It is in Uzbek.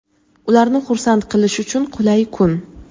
ularni "xursand" qilish uchun qulay kun).